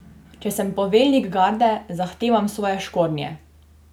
Če sem poveljnik garde, zahtevam svoje škornje!